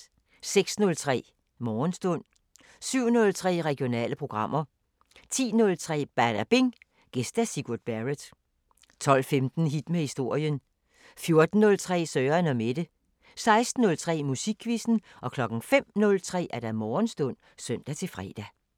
06:03: Morgenstund 07:03: Regionale programmer 10:03: Badabing: Gæst Sigurd Barrett 12:15: Hit med historien 14:03: Søren & Mette 16:03: Musikquizzen 05:03: Morgenstund (søn-fre)